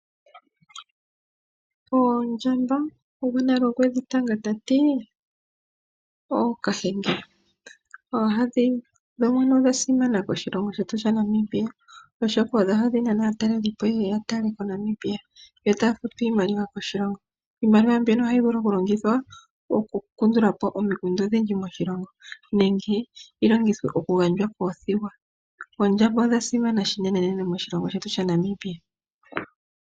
Oondjamba gwona okwedhi tanga tati ookahenge. Odhasimana koshilongo shetu Namibia oshoka odho hadhi nana aatalelipo yeye yatale Namibia yo taya futu iimaliwa koshilongo. Iimaliwa mbyono ohayi vulu okulongithwa okukandulapo omikundu odhindji moshilongo nenge yi longithwe oku gandjwa koothigwa. Oondjamba odha simana unene moshilongo shetu shaNamibia.